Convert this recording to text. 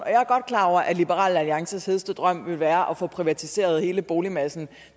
klar over at liberal alliances hedeste drøm ville være at få privatiseret hele boligmassen